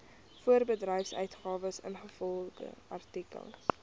voorbedryfsuitgawes ingevolge artikel